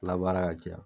Labaara ka caya